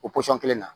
O pɔsɔn kelen na